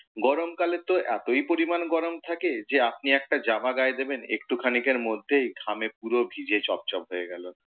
গরমকালে তো এতই পরিমাণ গরম থাকে, যে আপনি একটা জামা গায়ে দেবেন একটু খানিকের মধ্যেই ঘামে পুরো ভিজে চপ চপ হয়ে গেলো।